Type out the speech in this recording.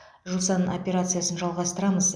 жусан операциясын жалғастырамыз